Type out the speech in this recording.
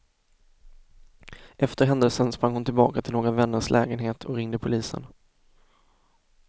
Efter händelsen sprang hon tillbaka till några vänners lägenhet och ringde polisen.